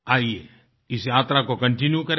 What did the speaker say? आइये इस यात्रा को कंटीन्यू करें